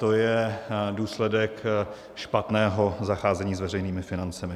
To je důsledek špatného zacházení s veřejnými financemi.